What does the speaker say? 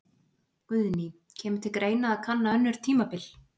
Guðný: Kemur til greina að kanna önnur tímabil?